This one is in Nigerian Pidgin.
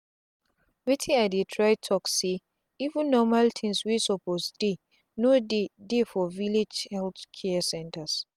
wetin i dey try talk say even normal things wey suppose deyno dey dey for village health care centers